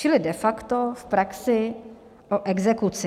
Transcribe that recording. Čili de facto v praxi o exekuci.